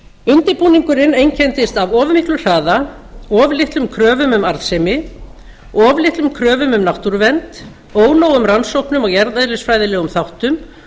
undirbúningurinn einkenndist af of miklum hraða of litlum kröfum um arðsemi of litlum kröfum um náttúruvernd ónógum rannsóknum á jarðeðlisfræðilegum þáttum